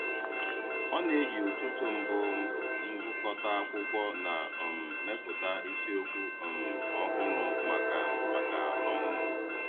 M na-eji ụtụtụ mbụ m gụkọta akwụkwọ na um mepụta isiokwu um ọhụrụ maka maka ọmụmụ.